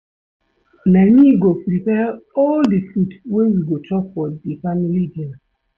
Na me go prepare all di food wey we go chop for di family dinner.